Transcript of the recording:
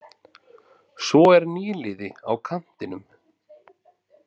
Svo er nýliði á kantinum.